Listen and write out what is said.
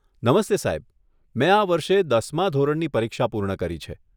નમસ્તે સાહેબ, મેં આ વર્ષે દસમાં ધોરણની પરીક્ષા પૂર્ણ કરી છે.